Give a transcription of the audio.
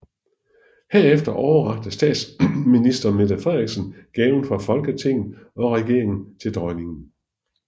Herefter overrakte statsminister Mette Frederiksen gaven fra Folketinget og regeringen til Dronningen